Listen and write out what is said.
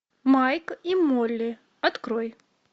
майк и молли открой